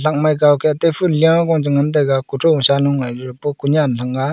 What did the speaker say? angk mai kaw ke te phul liya che ngan taiga --